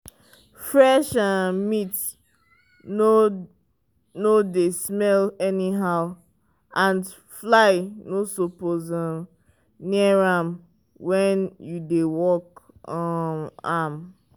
fresh um meat no no dey smell anyhow and fly no suppose um near am when you dey work um am.